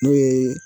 N'o ye